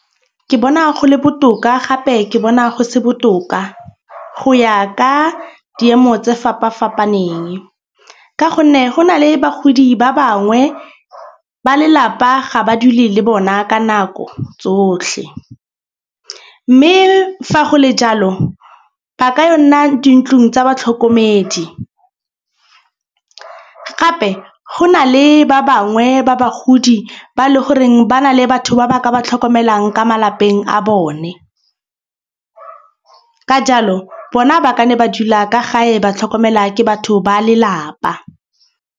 Ke bona go le botoka gape ke bona go se botoka go ya ka diemo tse fapafapaneng. Ka gonne go na le bagodi ba bangwe ba lelapa ga ba dule le bona ka nako tsotlhe. Mme fa go le jalo ba ka yo nna dintlong tsa batlhokomedi, gape go na le ba bangwe ba bagodi ba le goreng ba na le batho ba ba tlhokomelang ka malapeng a bone. Ka jalo bona ba ka nne ba dula ka gae ba tlhokomela ke batho ba lelapa.